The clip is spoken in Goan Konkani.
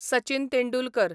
सचीन तेंडुलकर